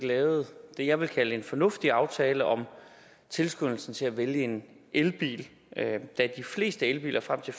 lavet det jeg vil kalde en fornuftig aftale om tilskyndelsen til at vælge en elbil da de fleste elbiler frem til